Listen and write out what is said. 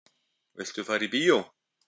Viltu fara í bíó?